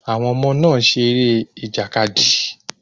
Àwọn ọmọ náà seré ìjàkadì